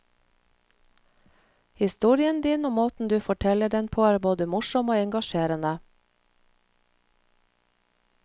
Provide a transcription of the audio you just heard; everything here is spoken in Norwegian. Historien din og måten du forteller den på er både morsom og engasjerende.